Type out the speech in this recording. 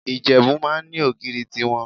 Ìjẹ̀bú máa ń ní ogìrì tí wọn.